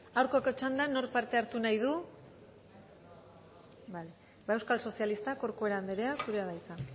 aurkako txandan nork parte hartu nahi du bale euskal sozialistak corcuera anderea zurea da hitza